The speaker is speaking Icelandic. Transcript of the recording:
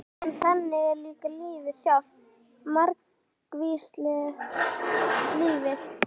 En þannig er líka lífið sjálft- margvíslegt lífið.